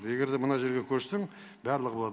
егер де мына жерге көшсең барлығы болады